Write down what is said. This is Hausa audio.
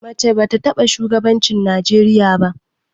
Mace ba ta taɓa shugabancin Najeriya ba.